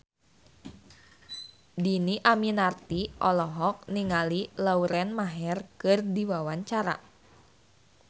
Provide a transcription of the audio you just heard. Dhini Aminarti olohok ningali Lauren Maher keur diwawancara